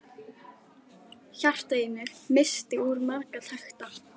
Hjartað í mér missti úr marga takta.